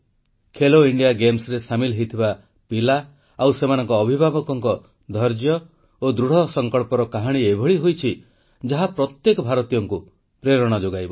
Khelo India ଗେମ୍ସରେ ସାମିଲ ହୋଇଥିବା ପିଲା ଆଉ ସେମାନଙ୍କ ଅଭିଭାବକଙ୍କ ଧୈର୍ଯ୍ୟ ଓ ଦୃଢ଼ସଙ୍କଳ୍ପର କାହାଣୀ ଏଭଳି ହୋଇଛି ଯାହା ପ୍ରତ୍ୟେକ ଭାରତୀୟଙ୍କୁ ପ୍ରେରଣା ଯୋଗାଇବ